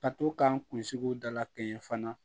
Ka to k'an kunsigiw dala kɛɲɛ fana